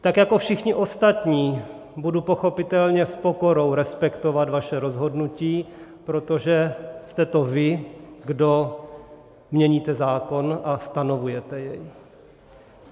Tak jako všichni ostatní budu pochopitelně s pokorou respektovat vaše rozhodnutí, protože jste to vy, kdo měníte zákon a stanovujete jej.